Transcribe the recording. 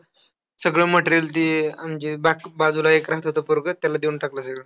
सगळं material ते अं म्हणजे बाक बाजूला एक राहतं ते पोरगं, त्याला देऊन टाकलं सगळं.